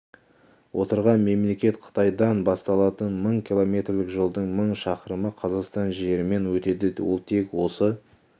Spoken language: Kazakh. отырған мемлекет қытайдан басталатын мың километрлік жолдың мың шақырымы қазақстан жерімен өтеді ол тек осы